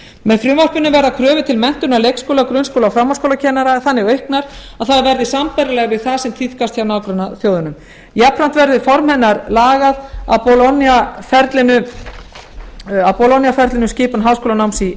með frumvarpinu verða kröfur til menntunar leikskóla grunnskóla og framhaldsskólakennara þannig auknar að þær verði sambærilegar við það sem tíðkast hjá nágrannaþjóðunum jafnframt verður formaður hennar lagað að bologna ferlinu skipun háskólanáms í